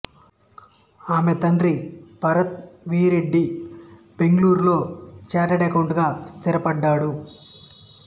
ఈమె తండ్రి భరత్ వి రెడ్డి బెంగళూరులో ఛార్టర్డ్ అకౌంటెంటుగా స్థిరపడ్డాడు